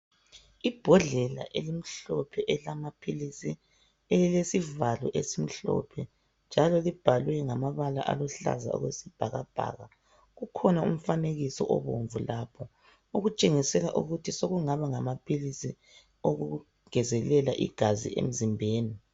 Ibhodlela elimhlophe elamaphilisi elilesivalo esimhlophe njalo libhalwe ngama bala aluhlaza okwe sibhakabhaka. Kukhona umfanekiso obomvu lapho okutshengisela ukuthi sokungaba ngamaphilisi okungezelela igazi emzimbeni.